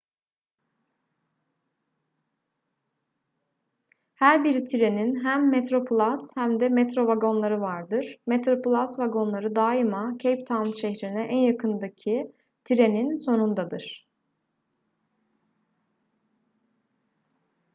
her bir trenin hem metroplus hem de metro vagonları vardır metroplus vagonları daima cape town şehrine en yakındaki treninin sonundadır